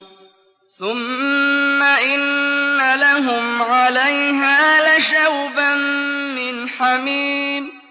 ثُمَّ إِنَّ لَهُمْ عَلَيْهَا لَشَوْبًا مِّنْ حَمِيمٍ